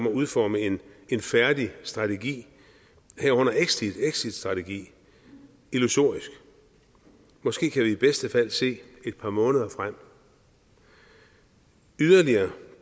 udforme en færdig strategi herunder exitstrategi illusorisk måske kan vi i bedste fald se et par måneder frem yderligere